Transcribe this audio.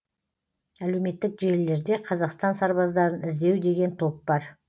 әлеуметтік желілерде қазақстан сарбаздарын іздеу деген топ бар